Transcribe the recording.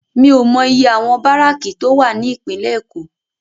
Mi ó mò iyé áwòn báráki tó wá ni Ipinlè Ékó